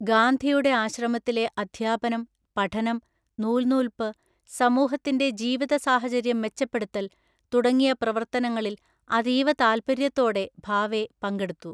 ഗാന്ധിയുടെ ആശ്രമത്തിലെ അദ്ധ്യാപനം, പഠനം, നൂൽനൂൽപ്പ്, സമൂഹത്തിന്റെ ജീവിതസാഹചര്യം മെച്ചപ്പെടുത്തൽ തുടങ്ങിയ പ്രവർത്തനങ്ങളിൽ അതീവ താല്പര്യത്തോടെ ഭാവെ പങ്കെടുത്തു.